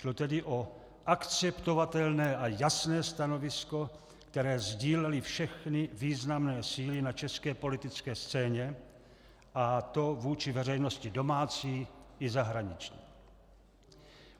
Šlo tedy o akceptovatelné a jasné stanovisko, které sdílely všechny významné síly na české politické scéně, a to vůči veřejnosti domácí i zahraniční.